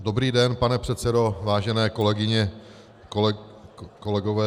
Dobrý den, pane předsedo, vážené kolegyně, kolegové.